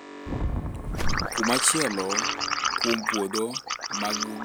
Kuma chielo kuom puodho mag gwenge osuru no mar stamp duty en pasent ariyo mar ohand puodho